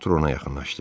Artur ona yaxınlaşdı.